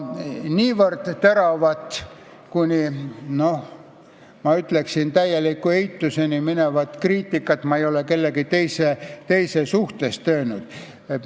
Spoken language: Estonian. Niivõrd teravat kriitikat ei ole esitanud keegi teine.